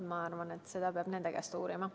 Ma arvan, et seda peab nende käest uurima.